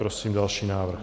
Prosím další návrh.